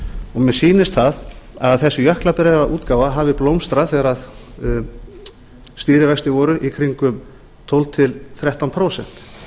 og mér sýnist að þessi jöklabréfaútgáfa hafi blómstrað þegar stýrivextir voru í kringum tólf til þrettán prósent